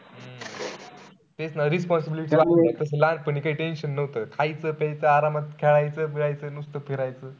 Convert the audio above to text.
तेच ना responsibility तस लहानपणी काई tension नव्हतं. खायचं प्यायचं आरामात खेळायचं, बीळायाच, नुसतं फिरायचं.